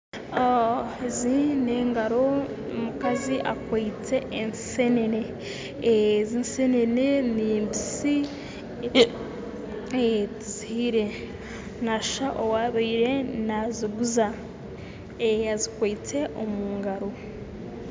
Ezi n'engaro omukazi akwitse ensenene, ezi ensenene ezi nimbise tizihiire, naashusha owaabire naaziguza ezikwitse omu ngaro